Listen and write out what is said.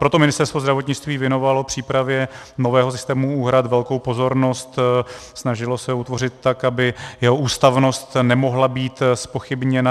Proto Ministerstvo zdravotnictví věnovalo přípravě nového systému úhrad velkou pozornost, snažilo se utvořit tak, aby jeho ústavnost nemohla být zpochybněna.